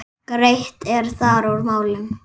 Greitt er þar úr málum.